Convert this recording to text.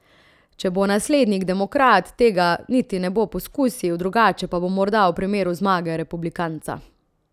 Če bo naslednik demokrat, tega niti ne bo poskusil, drugače pa bo morda v primeru zmage republikanca.